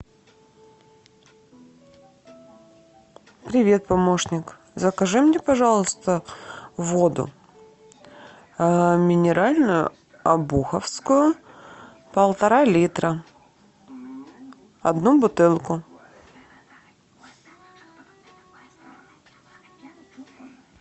привет помощник закажи мне пожалуйста воду минеральную обуховскую полтора литра одну бутылку